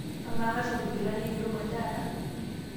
amaa kaishop nkilani enkirowuaj taata